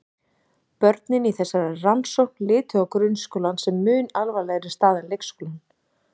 Börnin í þessari rannsókn litu á grunnskólann sem mun alvarlegri stað en leikskólann.